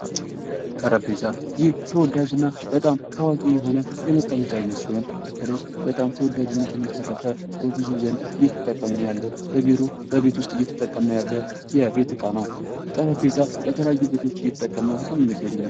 ጠረጴዛ ይህ ተወዳጅ እና በጣም ታዋቂ የሆነ የመቀመጫ አይነት ሲሆን በተለይ በጣም ተወዳጅነትን ያተረፈ በብዙ ዘንድ እየተጠቀምነው ያለ በቢሮ በቤት ዉስጥ እየተጠቀምነው ያለ የቤት ዕቃ ነው::ጠረጴዛ በተለያዩ ቦታዎች እየተጠቀምነው የምንገኘው ነው::